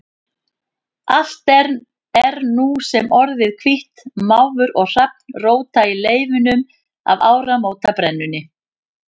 Allt er nú sem orðið hvítt, máfur og hrafn róta í leifunum af áramótabrennunni.